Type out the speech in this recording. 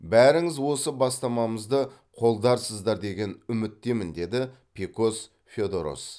бәріңіз осы бастамамызды қолдарсыздар деген үміттемін деді пекос феодорос